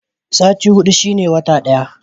Sati hudu shine wata ɗaya.